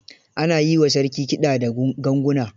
Ana yi wa sarki kiɗa da ganguna.